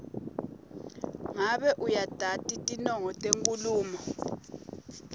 ngabe uyatati tinongo tenkhulumo